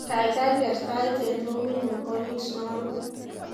Kaikai ker tait eng roomitnyu orito naruwe